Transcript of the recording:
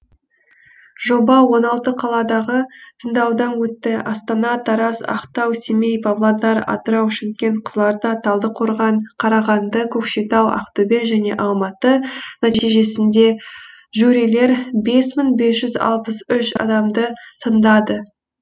жоба он алты қаладағы тыңдаудан өтті астана тараз ақтау семей павлодар атырау шымкент қызылорда талдықорған қарағанды көкшетау ақтөбе және алматы нәтижесінде жюрилер бес мың бес жүз алпыс үш адамды тыңдады